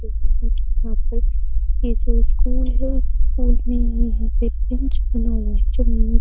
यहां पे ये जो स्कूल है। स्कूल में यहाँ पे बेंच बना हुआ है। --